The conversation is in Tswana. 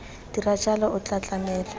dira jalo o tla tlamela